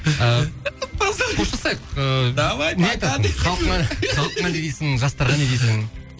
қоштасайық ыыы давай пока халқыңа не дейсің жастарға не дейсің